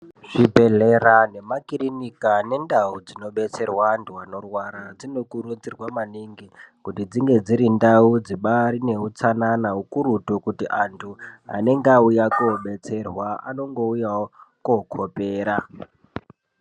Zvibhedhlera nemakiriniki ane ndau dzinodetserwa antu anorwara dzinokurudzurwa maningi kuti dzinge dziri ndau dzine utanan kakurutu kuti antu anenge auya kudetserwa anongouyawo kokopera.